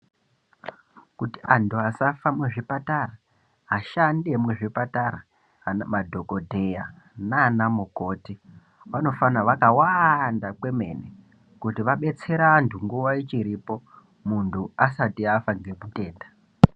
Kuti antu asafa muzvipatara ashandi emuzvipatara madhogodheya nana mukoti vanofanha vakawanda kwemene. Kuti vabetsere vantu nguva ichiripo muntu asati afa nemutenda.